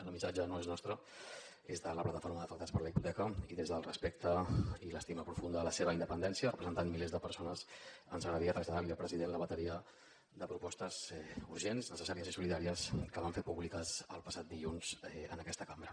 el missatge no és nostre és de la plataforma d’afectats per la hipoteca i des del respecte i l’estima profunda a la seva independència representant milers de persones ens agradaria traslladar al president la bateria de propostes urgents necessàries i solidàries que van fer públiques el passat dilluns en aquesta cambra